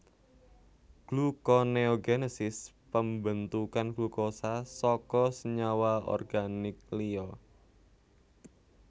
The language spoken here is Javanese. Glukoneogenesis pambentukan glukosa saka senyawa organik liya